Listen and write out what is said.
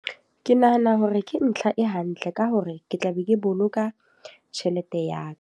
Ke nahana hore ke ntlha e hantle, ka hore ke tla be ke boloka tjhelete ya ka.